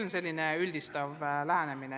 Niisugune see lähenemine on.